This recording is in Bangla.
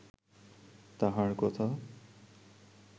তাঁহার কথা